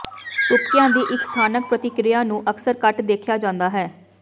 ਤੁਪਕਿਆਂ ਦੀ ਇੱਕ ਸਥਾਨਕ ਪ੍ਰਤਿਕ੍ਰਿਆ ਨੂੰ ਅਕਸਰ ਘੱਟ ਦੇਖਿਆ ਜਾਂਦਾ ਹੈ